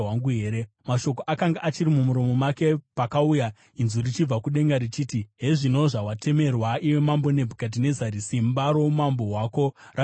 Mashoko akanga achiri mumuromo make pakauya inzwi richibva kudenga richiti, “Hezvino zvawatemerwa, iwe Mambo Nebhukadhinezari: Simba roumambo hwako rabviswa kwauri.